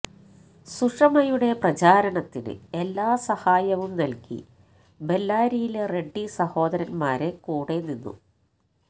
സുഷമയുടെ പ്രചാരണത്തിന് എല്ലാ സഹായവും നല്കി ബെല്ലാരിയിലെ റെഡ്ഡി സഹോദരന്മാരെ കൂടെ നിന്നു